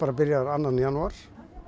byrjar annan janúar